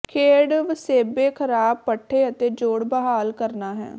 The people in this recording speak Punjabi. ਖੇਡ ਵਸੇਬੇ ਖਰਾਬ ਪੱਠੇ ਅਤੇ ਜੋਡ਼ ਬਹਾਲ ਕਰਨਾ ਹੈ